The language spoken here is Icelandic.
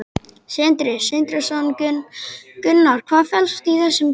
Sindri Sindrason: Gunnar, hvað felst í þessum tölum?